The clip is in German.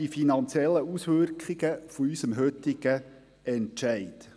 Die finanziellen Auswirkungen unseres heutigen Entscheids.